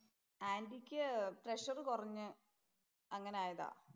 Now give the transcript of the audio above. ആന്‍റിക്ക് പ്രഷര്‍ കുറഞ്ഞു. അങ്ങനെ ആയതാ.